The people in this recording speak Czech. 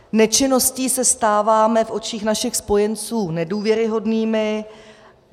Nečinností se stáváme v očích našich spojenců nedůvěryhodnými.